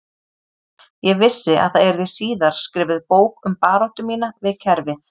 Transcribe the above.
Ég vissi að það yrði síðar skrifuð bók um baráttu mína við kerfið